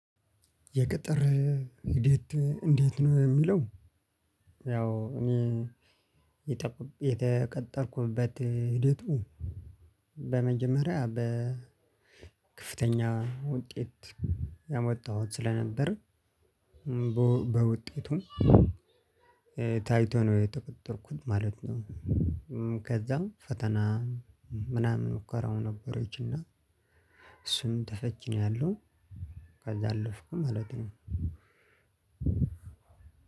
የቅጥር ሂደት እንዴት ነው? የሚለው፣ ያው እኔ የተቀ የተቀጠርኩበት ሂደቱ በመጀመሪያ በከፍተኛ ውጤት ያመጣሁት ስለነበር በው በውጤቱም ታይቶ ነው የተቀጠርኩት ማለት ነው። ከዛም ፈተና ምናምን ሙከራው ነበረችና እሱም ተፈትኛለው። ከዚያ አለፍኩ ማለት ነው።